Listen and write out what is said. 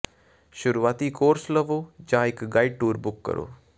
ਸ਼ੁਰੂਆਤੀ ਕੋਰਸ ਲਵੋ ਜਾਂ ਇਕ ਗਾਈਡ ਟੂਰ ਬੁੱਕ ਕਰੋ